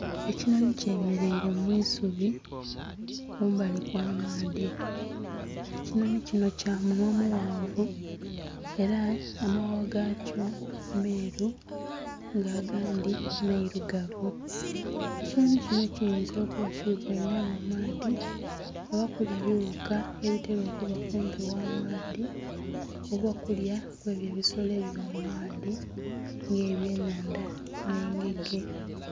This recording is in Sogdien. Ekinhonhi kyemeleire mwisubi kumbali kw'amaadhi, ekinhonhi kino kya munwa mughanvu era amaghagha gakyo meru nga agandhi mairugavu ekinhonhi kino kiyinza okuba nga kiri kwenda kunwa maadhi oba kulya ebiwuka ebitera okuba kumpi kwamaadhi oba okulya kwebyo ebisolo ebiba mu maadhi nga ebyenhandha n'engege.